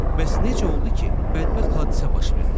Bəs necə oldu ki, bədbəxt hadisə baş verdi?